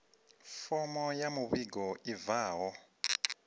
fomo ya muvhigo i bvaho